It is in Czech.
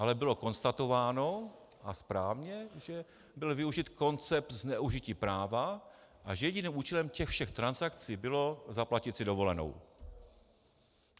Ale bylo konstatováno, a správně, že byl využit koncept zneužití práva a že jediným účelem těch všech transakcí bylo zaplatit si dovolenou.